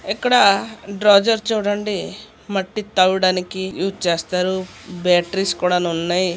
ఇక్కడ డ్రోజర్ చూడండి మట్టి తాగడానికి యూస్ చేస్తారు బ్యాటరీస్ కూడా ఆన్ ఉన్నాయి.